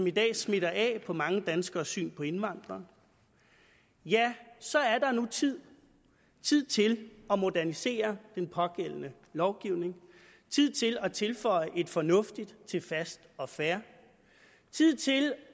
i dag smitter af på mange danskeres syn på indvandrere ja så er det nu tid tid til at modernisere den pågældende lovgivning tid til at tilføje et fornuftigt til fast og fair og tid til